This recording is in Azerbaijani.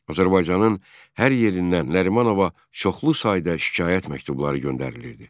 Azərbaycanın hər yerindən Nərimanova çoxlu sayda şikayət məktubları göndərilirdi.